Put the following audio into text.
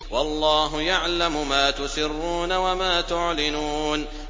وَاللَّهُ يَعْلَمُ مَا تُسِرُّونَ وَمَا تُعْلِنُونَ